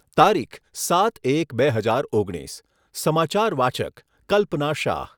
તારીખ, સાત એક બે હજાર ઓગણીસ. ચમાચાર વાચક, કલ્પના શાહ